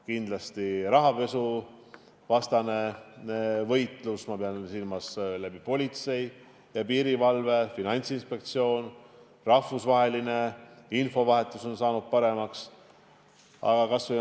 Kindlasti on rahapesuvastane võitlus – ma pean silmas politseid ja piirivalvet, Finantsinspektsiooni, rahvusvahelist infovahetust – paremaks muutunud.